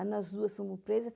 Aí nós duas fomos presas.